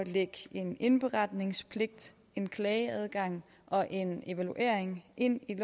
lægge en indberetningspligt en klageadgang og en evaluering ind i